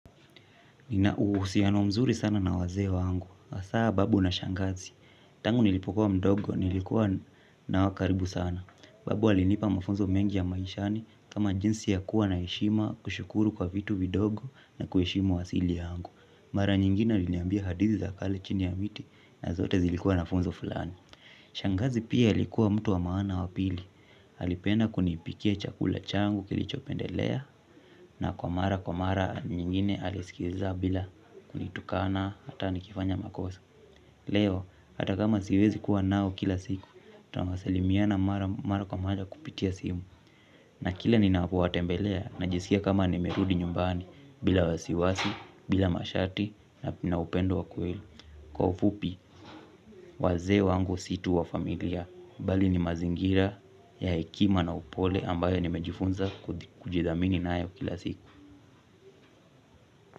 Nina uhusiano mzuri sana na wazee wangu hasa babu na shangazi. Tangu nilipokuwa mdogo nilikuwa nao karibu sana. Babu alinipa mafunzo mengi ya maishani kama jinsi ya kuwa na heshima, kushukuru kwa vitu vidogo na kuheshimu asili yangu. Mara nyingine aliniambia hadizi za kale chini ya miti na zote zilikuwa na funzo fulani. Shangazi pia alikuwa mtu wa maana wa pili. Alipenda kunipikia chakula changu kilichopendelea na kwa mara kwa mara nyingine alisikiza bila kunitukana hata nikifanya makosa. Leo hata kama siwezi kuwa nao kila siku, tunasalimiana mara kwa mara kupitia simu. Na kila ninapowatembelea najisikia kama nimerudi nyumbani. Bila wasiwasi, bila masharti na upendo wa kweli. Kwa ufupi, wazee wangu si tu wa familia. Bali ni mazingira ya hekima na upole ambayo nimejifunza kujidhamini nayo kila siku.